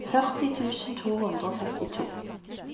førti tusen to hundre og femtito